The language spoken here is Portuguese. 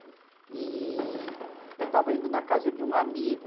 E eu estava indo na casa de um amigo.